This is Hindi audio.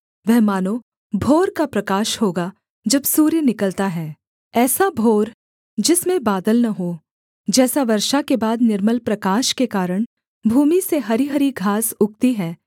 वह मानो भोर का प्रकाश होगा जब सूर्य निकलता है ऐसा भोर जिसमें बादल न हों जैसा वर्षा के बाद निर्मल प्रकाश के कारण भूमि से हरीहरी घास उगती है